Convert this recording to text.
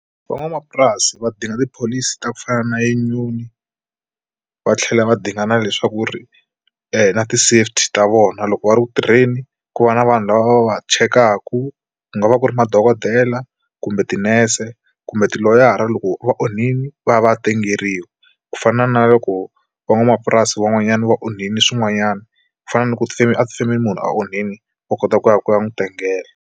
Van'wamapurasi va dinga tipholisi ta ku fana na union va tlhela va dinga leswaku ri na ti safety ta vona loko va ri ku tirheni ku va na vanhu lava va chekaka ku nga va ku ri madokodela kumbe tinurse kumbe tiloyara loko va onhile va ya va tengeriwa ku fana na loko van'wamapurasi van'wanyana va onhile swin'wanyana ku fana ni ku tifemeni loko munhu a onhile u kota ku ya ku ya n'wi tengeke.